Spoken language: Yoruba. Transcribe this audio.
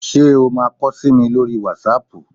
Ṣé o máa kọ sí mi lórí wátísapù?